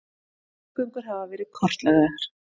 Loðnugöngur hafa verið kortlagðar